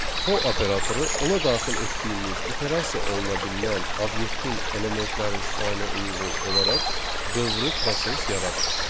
For operatoru ona daxil etdiyimiz iterasiya oluna bilinən obyektin elementlərin sayına uyğun olaraq dövrü proses yaradır.